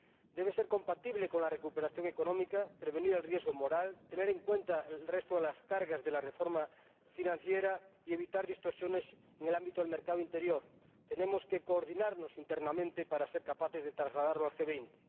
Debe ser compatible con la recuperación económica, prevenir el riesgo moral, tener en cuenta el resto de las cargas de la reforma financiera y evitar distorsiones en el ámbito del mercado interior. Tenemos que coordinarnos internamente para ser capaces de trasladarlo al G 20.